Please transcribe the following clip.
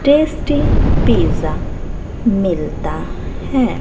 Tasty pizza मिलता है।